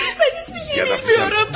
Mən heç bir şey bilmirəm!